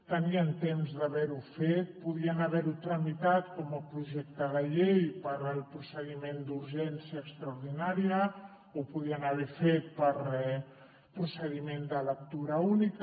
tenien temps d’haverho fet podien haverho tramitat com a projecte de llei pel procediment d’urgència extraordinària ho podien haver fet per procediment de lectura única